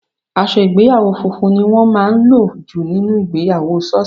Aṣọ ìgbéyàwó funfun ni wọ́n máa ń lò jù nínú ìgbéyàwó sọọsi.